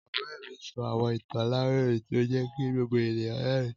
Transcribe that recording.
Ọrẹ mi sọ awọn itan alarinrin ti o jẹ ki gbogbo eniyan rẹrin